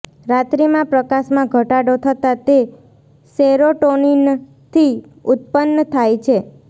રાત્રીમાં પ્રકાશમાં ઘટાડો થતાં તે સેરોટોનિનથી ઉત્પન્ન થાય છે